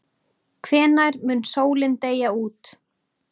Hvenær mun sólin deyja út?